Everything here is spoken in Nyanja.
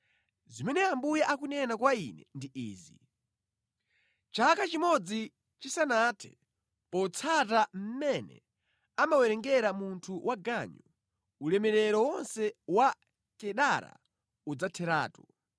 Zimene Ambuye akunena kwa ine ndi izi: “Chaka chimodzi chisanathe, potsata mmene amawerengera munthu waganyu, ulemerero wonse wa Kedara udzatheratu.